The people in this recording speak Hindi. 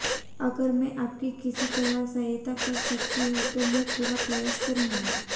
अगर मैं आपकी किसी तरह सहायता कर सकती हूं तो मैं पूरा प्रयास करूंगी